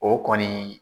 O kɔni